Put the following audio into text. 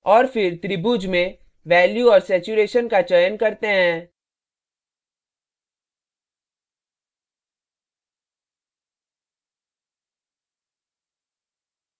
और फिर त्रिभुज में value और saturation का चयन करते हैं